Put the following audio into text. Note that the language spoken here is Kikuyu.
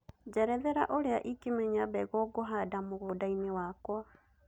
njerethera ũrĩa ĩngĩmenya mbegũ ngũhanda mũgũnda-inĩ wakwa